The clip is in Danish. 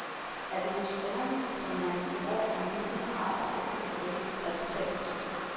Atmosfæren, som han i et år omhyggeligt har arbejdet på at skabe, er totalt forsvundet.